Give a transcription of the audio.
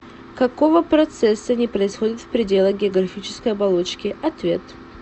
какого процесса не происходит в пределах географической оболочки ответ